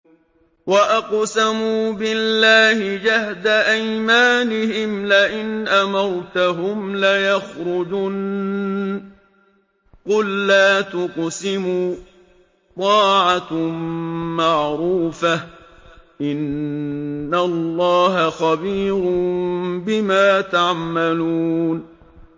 ۞ وَأَقْسَمُوا بِاللَّهِ جَهْدَ أَيْمَانِهِمْ لَئِنْ أَمَرْتَهُمْ لَيَخْرُجُنَّ ۖ قُل لَّا تُقْسِمُوا ۖ طَاعَةٌ مَّعْرُوفَةٌ ۚ إِنَّ اللَّهَ خَبِيرٌ بِمَا تَعْمَلُونَ